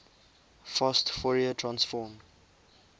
fast fourier transform